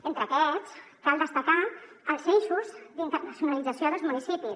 entre aquests cal destacar els eixos d’internacionalització dels municipis